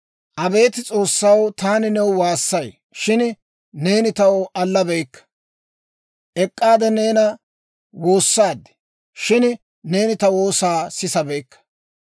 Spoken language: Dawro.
«Abeet S'oossaw, taani new waassay; shin neeni taw allabeyikka. Ek'k'aade neena woossaad; shin neeni ta woosaa sisabeykka.